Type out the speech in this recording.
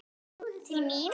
Til mín?